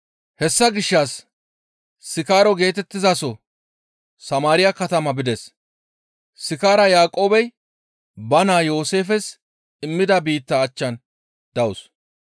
Hessa gishshas Sikaaro geetettizaso Samaariya katama bides. Sikaara Yaaqoobey ba naa Yooseefes immida biittaa achchan dawus.